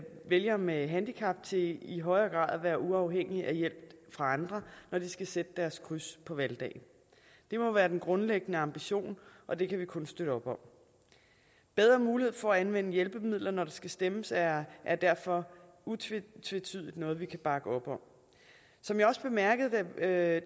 vælgere med handicap til i højere grad at være uafhængige af hjælp fra andre når de skal sætte deres kryds på valgdagen det må være den grundlæggende ambition og det kan vi kun støtte op om bedre mulighed for at anvende hjælpemidler når der skal stemmes er er derfor utvetydigt noget vi kan bakke op om som jeg også bemærkede da